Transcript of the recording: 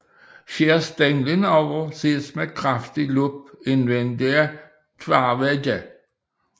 Skæres stænglen over ses med kraftig lup indvendige tværvægge